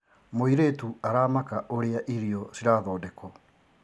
Mũirĩtu aramaka ũrĩa irio cirathondekwo.